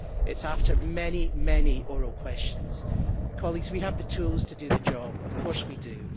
It is after many, many oral questions. Colleagues, we have the tools to do the job of course we do.